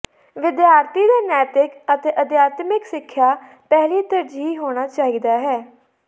ਵਿਦਿਆਰਥੀ ਦੇ ਨੈਤਿਕ ਅਤੇ ਅਧਿਆਤਮਿਕ ਸਿੱਖਿਆ ਪਹਿਲੀ ਤਰਜੀਹ ਹੋਣਾ ਚਾਹੀਦਾ ਹੈ